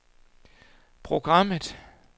programmet